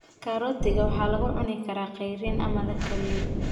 Karootiga waxaa lagu cuni karaa cayriin ama la kariyey.